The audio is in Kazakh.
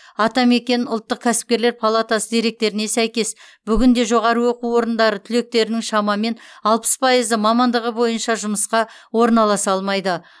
атамекен ұлтық кәсіпкерлер палатасы деректеріне сәйкес бүгінде жоғарғы оқу орындары түлектерінің шамамен алпыс пайызы мамандығы бойынша жұмысқа орналаса алмайды